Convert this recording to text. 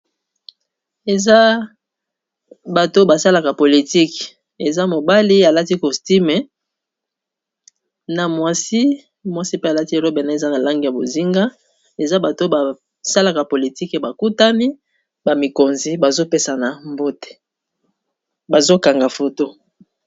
eza bato basalaka politike eza mobali alati costume na mwasi mwasi pe alati ero bene eza na lange ya bozinga eza bato basalaka politike bakutani bamikonzi bazopesana mbote bazokanga foto